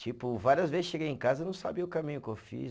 Tipo, várias vezes cheguei em casa e não sabia o caminho que eu fiz.